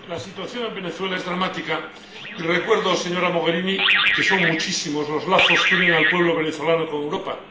Señor presidente, la situación en Venezuela es dramática y recuerdo, señora Mogherini, que son muchísimos los lazos que unen al pueblo venezolano con Europa.